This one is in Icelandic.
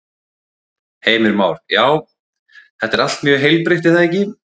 Heimir Már: Já, þetta er allt mjög heilbrigt er það ekki?